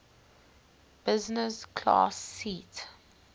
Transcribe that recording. business class seat